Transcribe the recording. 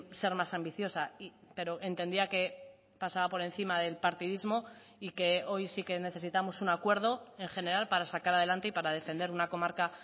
ser más ambiciosa y pero entendía que pasaba por encima del partidismo y que hoy sí que necesitamos un acuerdo en general para sacar adelante y para defender una comarca